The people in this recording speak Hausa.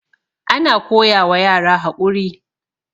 ana koyawa yara haƙuri